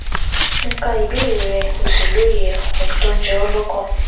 Mo ka ìbéèrè rẹ, mo sì lóye ohun tó ń jẹ ọ́ lọ́kàn